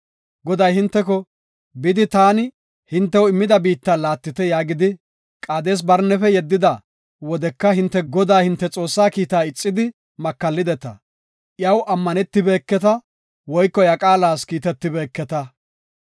Goday hinteko, “Bidi, taani hintew immida biitta laattite” yaagidi, Qaades-Barnefe yeddida wodeka hinte Godaa, hinte Xoossaa kiita ixidi makallideta. Iyaw ammanetibeketa woyko iya qaalas kiitetibeketa.